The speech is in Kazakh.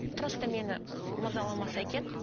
просто мені ы мазаламаса екен